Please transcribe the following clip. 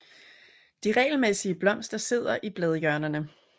De regelmæssige blomster sidder i bladhjørnerne